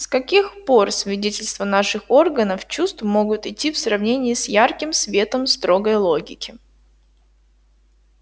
с каких пор свидетельства наших органов чувств могут идти в сравнение с ярким светом строгой логики